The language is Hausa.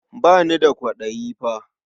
Ba ni da kwaɗayi fa.